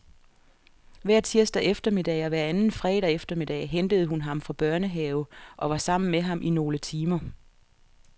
Hver tirsdag eftermiddag og hver anden fredag eftermiddag hentede hun ham fra børnehave og var sammen med ham i nogle timer.